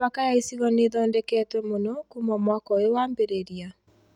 Mĩhaka ya icigo nĩ ĩthondeketwo mũno kuma mwaka ũyũ wambĩrĩria